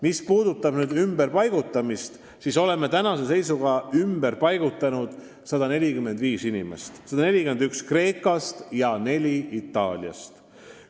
Mis puudutab ümberpaigutamist, siis oleme tänase seisuga ümber paigutanud 145 inimest: 141 Kreekast ja 4 Itaaliast.